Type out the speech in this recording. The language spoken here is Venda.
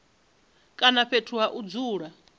kana fhethu ha u dzula